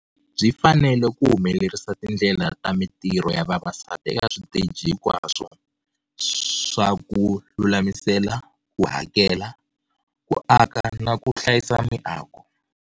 Byi fanelel ku humelerisa tindlela ta mintirho ya vavasati eka switeji hinkwaswo swa ku lulamisela, ku hakela, ku aka na ku hlayisa miako.